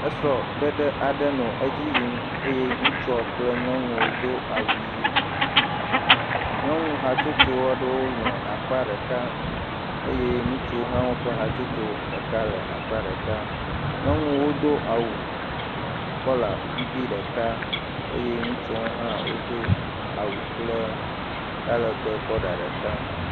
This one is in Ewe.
Esrɔ̃ɖeɖe aɖe nɔ edzi yim eye ŋutsua kple nyɔnua wodo awu ʋi. Nyɔnu hatsotso aɖewo nɔ akpa ɖeka eye ŋutsuwo hã woƒe hatsotso ɖeka le akpa ɖeka. Nyɔnuawo do awu kɔla ɖeka eye ŋutsuawo hʋ wodo awu kɔla ɖeka.